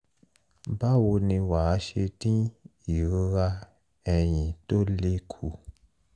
báwo ni wàá ṣe dín ìrora ẹ̀yìn tó le kù?